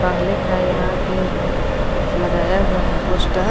पहले का यहां पे लगाया हुआ है पोस्टर .